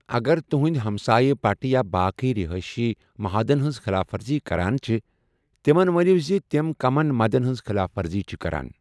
اگر تٗہندِ ہمسایہ پٹہٕ یا باقٕیہ رِہٲیشی مہادن ہنز خلاف ورزی كران چھِ ، تِمن ونِیو زِ تِم كمن مدن ہنز خلاف ورزی چھِ كران ۔